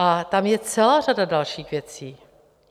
A tam je celá řada dalších věcí.